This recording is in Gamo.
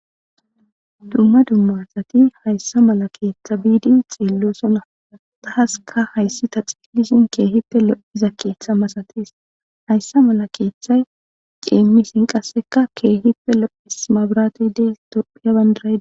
Dumma dumma asati hayssa mala keeththa biidi xeellosona taassikka hayssi ta xeellishin keehippe lo'iza keeththa masatees. Hayssa mala keeththa qasse cimmishin keehippe lo'es maburatey de'es tophphiya bandiray dees.